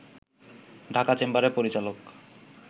ঢাকা চেম্বারের পরিচালক